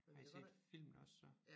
Har I set filmene også så